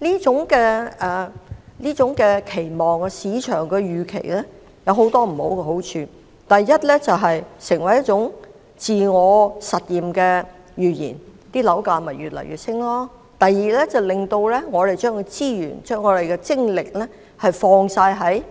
這種期望及市場預期有很多弊處：第一，造成一種自我實現的預言，樓價便不斷上升；第二，令市民把所有資源投放於